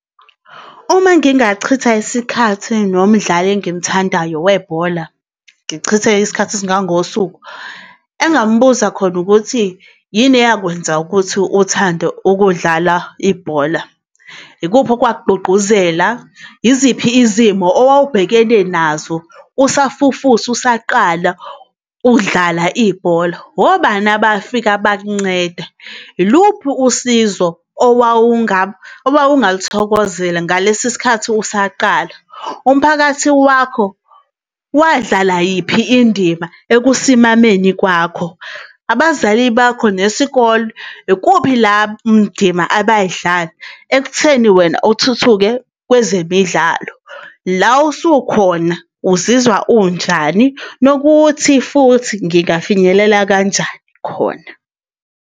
Uma ngingachitha isikhathi nomdlali engimthandayo webhola, ngichithe isikhathi esingangosuku, engingambuza khona ukuthi yini eyakwenza ukuthi uthande ukudlala ibhola? Ikuphi okwakugqugquzela, yiziphi izimo owawubhekane nazo usafufusa, usaqala ukudlala ibhola? Obani abafika bakuncede? Yiluphi usizo owawungalithokozela ngalesi sikhathi usaqala? Umphakathi wakho wadlala yiphi indima ekusimameni kwakho? Abazali bakho nesikole, ikuphi la ndima abay'dlala ekutheni wena uthuthuke kwezemidlalo? La usukhona uzizwa unjani, nokuthi futhi ngingafinyelela kanjani khona?